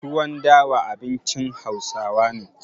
Tuwon dawa abincin Hausawa ne.